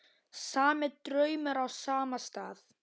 Sami draumur á sama stað.